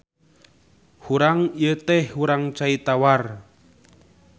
Hurang ieu teh hurang cai tawar.